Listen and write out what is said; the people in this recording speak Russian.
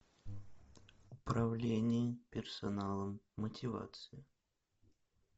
управление персоналом мотивация